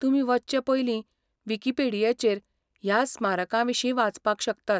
तुमी वचचे पयलीं विकिपेडियाचेर ह्या स्मारकांविशीं वाचपाक शकतात.